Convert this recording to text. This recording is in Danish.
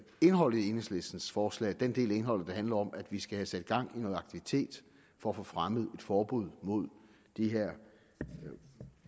indholdet i enhedslistens forslag den del af indholdet der handler om at vi skal have sat gang i noget aktivitet for at få fremmet et forbud mod de her